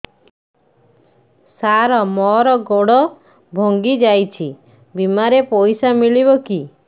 ସାର ମର ଗୋଡ ଭଙ୍ଗି ଯାଇ ଛି ବିମାରେ ପଇସା ମିଳିବ କି